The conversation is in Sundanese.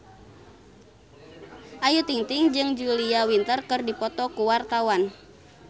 Ayu Ting-ting jeung Julia Winter keur dipoto ku wartawan